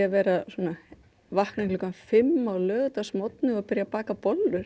vakna klukkan fimm á laugardagsmorgni og baka bollur